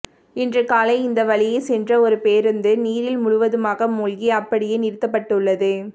இன்று காலை இந்த வழியே சென்ற ஒரு பேருந்து நீரில் முழுவதுமாக மூழ்கி அப்படியே நிறுத்தப்பட்டுள்ளது